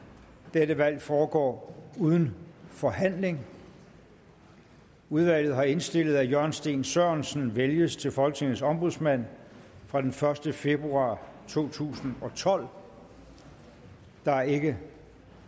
dette valg foregår uden forhandling udvalget har indstillet at jørgen steen sørensen vælges til folketingets ombudsmand fra den første februar to tusind og tolv der er ikke